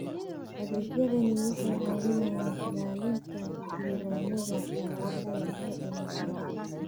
Adeegyadani waxay caawiyaan ilaalinta diiwaannada dhalashada iyo dhimashada.